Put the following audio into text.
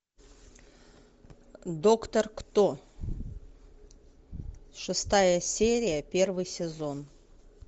доктор кто шестая серия первый сезон